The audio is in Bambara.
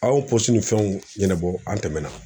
Aw polisi ni fɛnw ɲɛnabɔ an tɛmɛna